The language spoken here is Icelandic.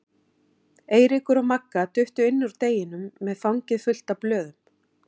Eiríkur og Magga duttu inn úr deginum með fangið fullt af blöðum.